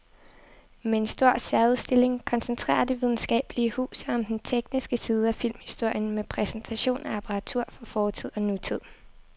Med en stor særudstilling koncentrerer det videnskabelige hus sig om den tekniske side af filmhistorien med præsentation af apparatur fra fortid og nutid.